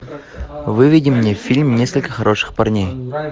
выведи мне фильм несколько хороших парней